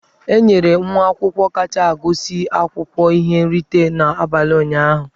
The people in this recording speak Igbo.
E nyere nwa akwụkwọ kacha agụsị akwụkwọ ihe nrite n'abalị ụnyahụ.